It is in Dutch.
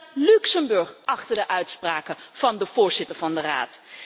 Staat Luxemburg achter de uitspraken van de voorzitter van de Raad?